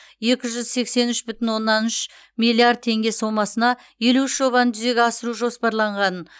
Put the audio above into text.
екі жүз сексен үш бүтін оннан үш миллиард теңге сомасына елу үш жобаны жүзеге асыру жоспарланғанын